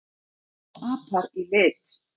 sjá apar í lit